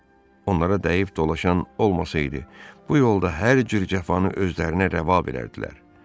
Onlara dəyib dolaşan olmasaydı, bu yolda hər cür cəfanı özlərinə rəva verərdilər.